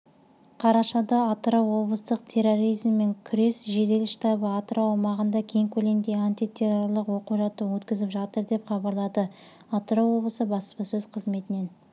қарашада атырау облыстық терроризммен күрес жедел штабы атырау аумағында кең көлемде антитеррорлық оқу-жаттығу өткізіп жатыр деп хабарлады атырау облысы баспасөз қызметінен